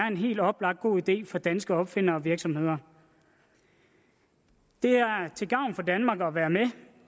en helt oplagt god idé for danske opfindere og virksomheder det er til gavn for danmark at være med